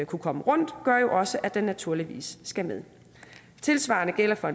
kunne komme rundt gør jo også at den naturligvis skal med tilsvarende gælder for